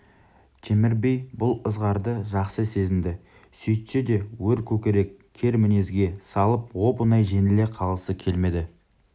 темір би бұл ызғарды жақсы сезінді сөйтсе де өркөкірек кер мінезге салып оп-оңай жеңіле қалғысы келмеді